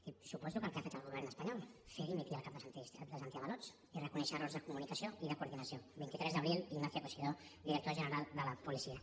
i suposo que el que ha fet el govern espanyol fer dimitir el cap dels antiavalots i reconèixer errors de comunicació i de coordinació vint tres d’abril ignacio cosidó director general de la policia